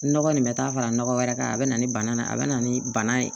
Nɔgɔ nin bɛ taa fara nɔgɔ wɛrɛ kan a bɛ na ni bana ye a bɛ na ni bana ye